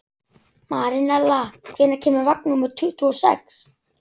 Marinella, hvenær kemur vagn númer tuttugu og sex?